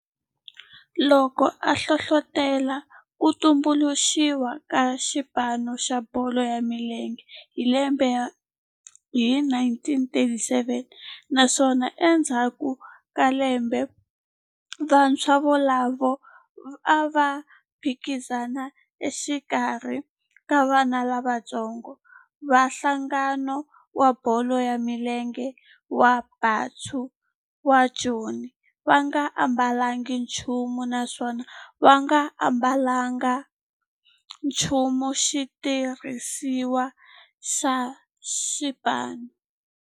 Loko a hlohlotela ku tumbuluxiwa ka xipano xa bolo ya milenge hi 1937 naswona endzhaku ka lembe vantshwa volavo a va phikizana exikarhi ka vana lavatsongo va nhlangano wa bolo ya milenge wa Bantu wa Joni va nga ambalanga nchumu naswona va nga ambalanga nchumu xitirhisiwa xa xipano.